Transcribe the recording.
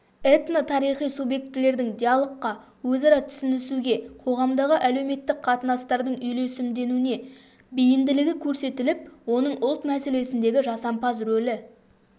этнотарихи субъектілердің диалогқа өзара түсінісуге қоғамдағы әлеуметтік қатынастардың үйлесімденуіне бейімділігі көрсетіліп оның ұлт мәселесіндегі жасампаз рөлі